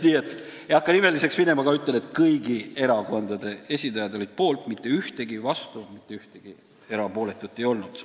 Ma ei hakka nimeliseks minema, aga ütlen, et kõigi erakondade esindajad olid poolt, mitte ühtegi vastuhäält, mitte ühtegi erapooletut ei olnud.